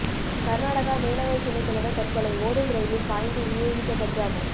கர்நாடகா மேலவை துணை தலைவர் தற்கொலை ஓடும் ரயிலில் பாய்ந்து உயிரை விட்ட பரிதாபம்